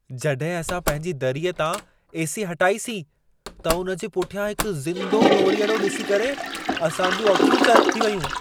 जॾहिं असां पंहिंजी दरीअ तां ए.सी. हटाईसीं, त उन जे पुठियां हिकु ज़िंदो नोरीअड़ो ॾिसी करे असां जूं अखियूं चरिख़ थी वयूं।